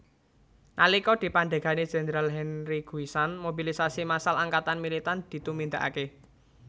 Nalika dipandhegani Jenderal Henri Guisan mobilisasi massal angkatan militan ditumindakake